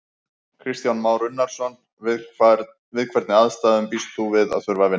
Kristján Már Unnarson: Við hvernig aðstæður býst þú við að þurfa að vinna?